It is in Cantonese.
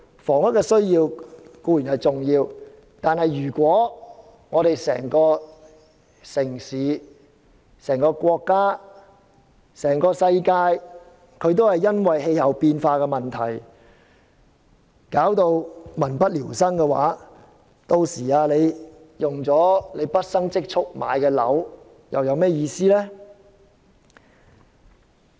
房屋固然重要，但如果整個城市、國家、世界都因為氣候變化而導致民不聊生，屆時即使大家花費畢生儲蓄買了個單位，又有何意義？